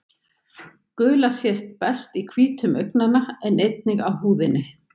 Gula sést best í hvítum augnanna en einnig á húðinni.